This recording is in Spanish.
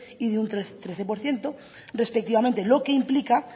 y de un trece por ciento respectivamente lo que implica